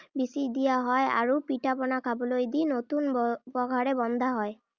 বিচি দিয়া হয় আৰু পিঠা-পনা খাবলৈ দি নতুন আহ পঘাৰে বন্ধা হয়।